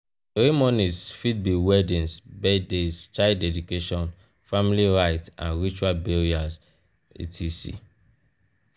ceremonies fit be weddings birthdays child dedication family rites and ritual burial etc.